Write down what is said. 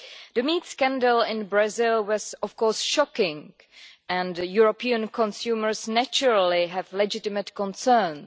The meat scandal in Brazil was of course shocking and European consumers naturally have legitimate concerns.